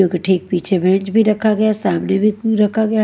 ठीक पीछे बेंच भी रखा गया सामने में रखा गया--